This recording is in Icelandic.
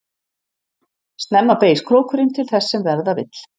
Snemma beygist krókurinn til þess sem verða vill.